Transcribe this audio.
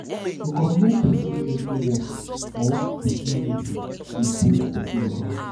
to compliment persin dressing work or personality de boost persin morale